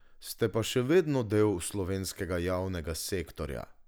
Ste pa še vedno del slovenskega javnega sektorja.